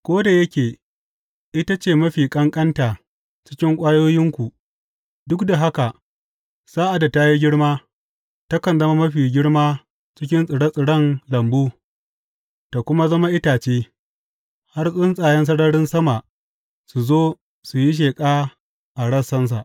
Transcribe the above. Ko da yake ita ce mafi ƙanƙanta cikin ƙwayoyinku, duk da haka sa’ad da ta yi girma, takan zama mafi girma cikin tsire tsiren lambu ta kuma zama itace, har tsuntsayen sararin sama su zo su yi sheƙa a rassansa.